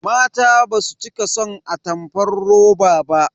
Mata basu cika son atamfar roba ba.